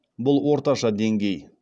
бұл орташа деңгей